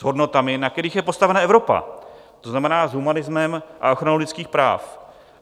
S hodnotami, na kterých je postavena Evropa, to znamená s humanismem a ochranou lidských práv.